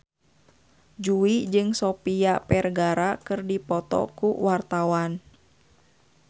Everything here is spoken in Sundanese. Jui jeung Sofia Vergara keur dipoto ku wartawan